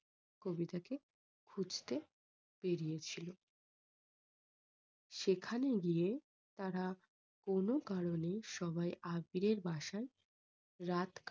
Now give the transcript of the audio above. কবিতাকে খুঁজতে বেরিয়েছিল সেখানে গিয়ে তারা কোনো কারণে সবাই আবিরের বাসায় রাত